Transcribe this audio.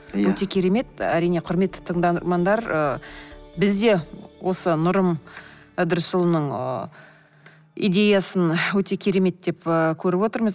иә өте керемет әрине құрметті тыңдармандар ы бізде осы нұрым ыдырысұлының ы идеясын өте керемет деп ыыы көріп отырмыз